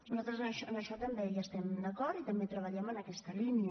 nosaltres en això també hi estem d’acord i també treballem en aquesta línia